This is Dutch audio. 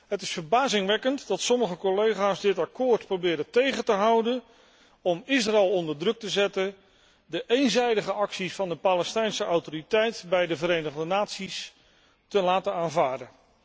Het is verbazingwekkend dat sommige collega's dit akkoord proberen tegen te houden om Israël onder druk te zetten de eenzijdige acties van de Palestijnse Autoriteit bij de Verenigde Naties te laten aanvaarden.